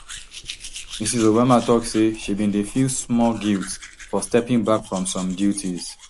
mrs obama tok say she bin dey feel small guilt for stepping back from some duties